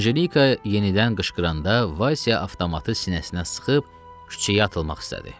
Anjelika yenidən qışqıranda, Vaysya avtomatı sinəsinə sıxıb küçəyə atılmaq istədi.